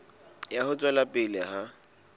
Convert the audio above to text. ya ho tswela pele ha